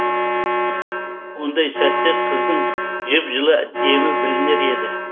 ондай сәтте қыздың жып жылы демі білінер еді